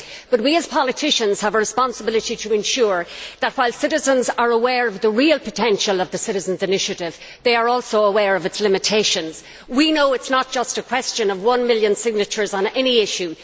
But we as politicians have a responsibility to ensure that, while citizens are aware of the real potential of the Citizens' Initiative, they are also aware of its limitations. We know that it is not just a question of one million signatures on any issue.